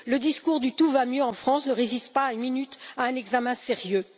Le discours du tout va mieux en France ne résiste pas une minute à un examen sérieux.